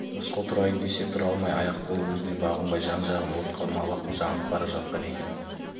рысқұл тұрайын десе тұра алмай аяқ-қолы өзіне бағынбай жан-жағын от қамалап жанып бара жатқан екен